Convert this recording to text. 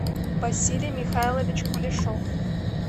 василий михайлович кулешов